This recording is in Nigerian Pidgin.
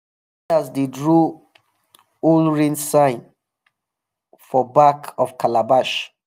elders dey draw old rain signs for back of calabash.